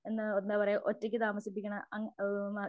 ആഹ് എന്താ പറയ്യാ ഒറ്റയ്ക്ക് താമസിപ്പിക്കണ അങ്ങനെ അഹ്